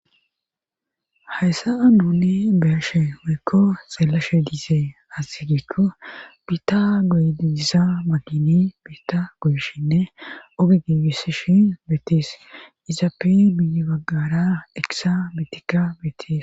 hayssa nuni beyashe woykko xeelashe diisee asigiekko biita goydiiza magini biitta goyishinne ogi gigisishi beetties izaappe bibaggara eqisa bitikka beettees